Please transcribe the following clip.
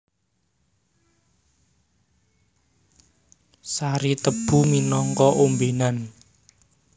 Sari tebu minangka ombènan